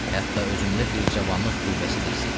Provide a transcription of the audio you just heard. Hətta özümdə bir cavanlıq qüvvəsi də hiss eləyirəm.